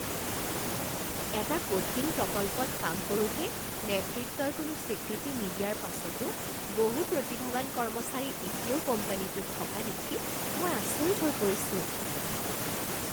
এটা কঠিন প্ৰকল্পত কাম কৰোঁতে নেতৃত্বই কোনো স্বীকৃতি নিদিয়াৰ পাছতো বহু প্ৰতিভাৱান কৰ্মচাৰী এতিয়াও কোম্পানীটোত থকা দেখি মই আচৰিত হৈ পৰিছোঁ।